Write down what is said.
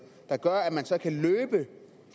der gør at man så kan løbe